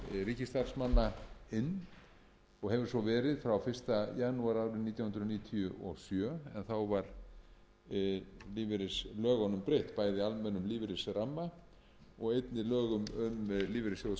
ríkisstarfsmanna inn og hefur svo verið frá fyrsta janúar árið nítján hundruð níutíu og sjö en þá var lífeyrislögunum breytt bæði almennum lífeyrisramma og einnig lögum um lífeyrissjóð